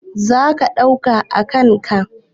Za ka ɗauka a kan ka?